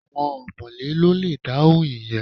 Àwọn ọ̀mọ̀lé ló le dáhùn ìyẹn